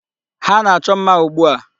Ha na-achọ mma ugbu a.